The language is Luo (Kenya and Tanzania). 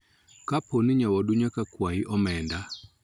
Kapo ni nyawadu nyaka kwayi omenda.